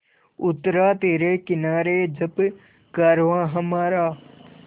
उतरा तिरे किनारे जब कारवाँ हमारा